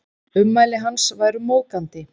Ummæli hans væru móðgandi